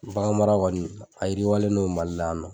Baganmara kɔni a yiriwalen no Mali la yan nɔ.